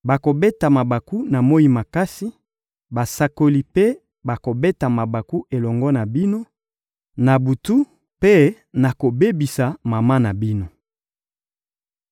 Bokobeta mabaku, na moyi makasi; basakoli mpe bakobeta mabaku elongo na bino, na butu, mpe nakobebisa mama na bino.